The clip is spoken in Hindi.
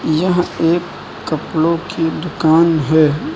यह एक कपड़ों की दुकान है।